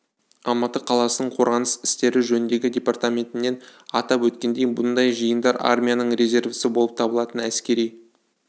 алматы қаласының қорғаныс істері жөніндегі департаментінен атап өткендей мұндай жиындар армияның резервісі болып табылатын әскери